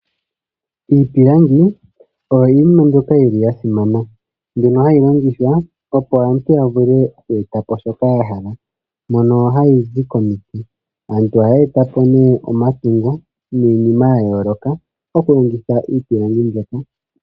Iipilangi oyo iinima mbyoka yi li yasimana, mbyono hayi longithwa opo aantu yavule oku etapo shoka yahala, mono hayi zi komiti. Aantu ohaya etapo nee omapingo niinima ya yooloka, okulongitha iipilangi mbyoka.